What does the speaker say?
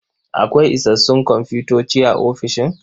Akwai isassun komfutoci a ofishin?